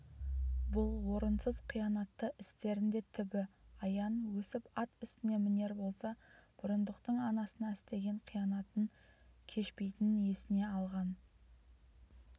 бұл орынсыз қиянатты істерінде түбі аян өсіп ат үстіне мінер болса бұрындықтың анасына істеген қиянатын кешпейтінін есіне алған